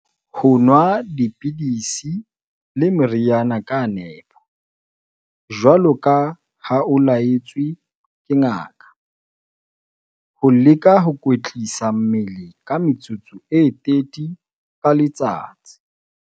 Ho nwa dipidisi le meriana ka nepo, jwaloka ha o la-etswe ke ngaka. Ho leka ho kwetlisa mmele ka metsotso e 30 ka letsatsi.